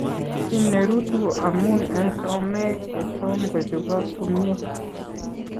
Kiiy ne ruutu ko amun en someek chetom kochobok komnye.